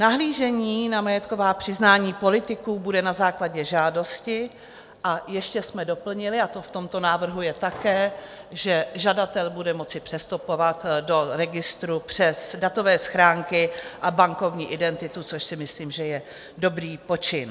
Nahlížení na majetková přiznání politiků bude na základě žádosti a ještě jsme doplnili, a to v tomto návrhu je také, že žadatel bude moci přistupovat do registru přes datové schránky a bankovní identitu, což si myslím, že je dobrý počin.